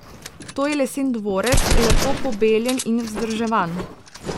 To je lesen dvorec, lepo pobeljen in vzdrževan.